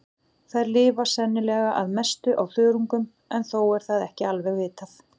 Þær lifa sennilega að mestu á þörungum en þó er það ekki alveg vitað.